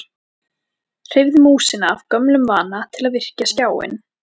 Hreyfði músina af gömlum vana til að virkja skjáinn.